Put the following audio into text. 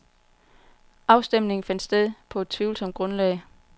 Afstemningen fandt sted på et tvivlsomt grundlag.